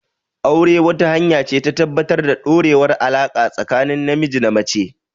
Aure, wata hanya ce ta tabbatar da ɗorewar alaƙa tsakanin namiji da mace.